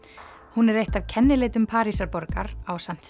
hún eitt af kennileitum Parísarborgar ásamt